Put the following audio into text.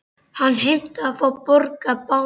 Hann heimtaði að fá að borga báða miðana.